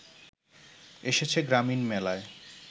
এসেছে গ্রামীণ মেলায়